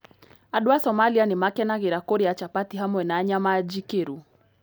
Andũ a Somalia nĩ makenagĩra kũrĩa chapati hamwe na nyama njĩkĩru.